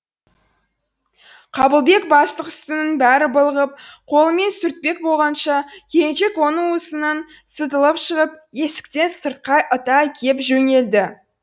қабылбек бастық үстінің бәрі былығып қолымен сүртпек болғанша келіншек оның уысынан сытылып шығып есіктен сыртқа ыта кеп жөнелді